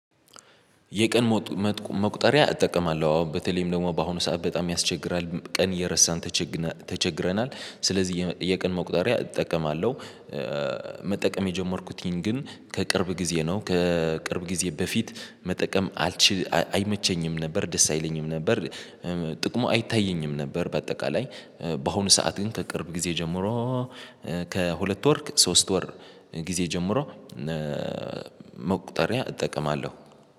የቀን መቁጠሪያ እጠቀማለሁ። አዎ በተለይም ደግሞ በአሁኑ ሰዓት በጣም ያስቸግራል ቀን እየረሳን ተቸግረናል ስለዚህ የቀን መቁጠሪያ እጠቀማለሁ። መጠቀም የጀመርኩትኝ ግን ከቅርብ ጊዜ ነው ከቅርብ ጊዜ በፊት መጠቀም አልችል አይመቸኝም ነበር ደስ አይለኝም ነበር ጥቅሙ አይታየኝም ነበር። በአጠቃላይ በአሁኑ ሰዓት ግን ከቅርብ ጊዜ ጀምሮ ከሁለት ወር ሶስት ወር ጊዜ ጀምሮ መቁጠሪያ እጠቀማለሁ